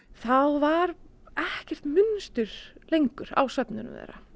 þá var ekkert munstur lengur á svefninum þeirra